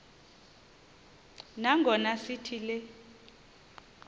nangona sithi le